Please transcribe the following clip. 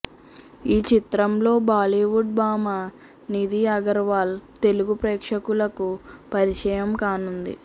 ఈ చిత్రంతో బాలీవుడ్ భామ నిధి అగార్వల్ తెలుగు ప్రేక్షకులకు పరిచయం కానుంది